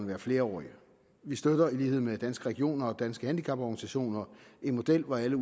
være flerårige vi støtter i lighed med danske regioner og danske handicaporganisationer en model hvor alle